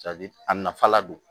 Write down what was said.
a nafa la don